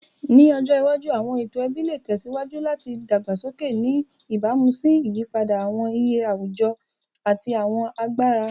Ni ọjọ iwaju, awọn eto ẹbi le tẹsiwaju lati dagbasoke, ni ibamu si iyipada awọn iye awujọ ati awọn agbara.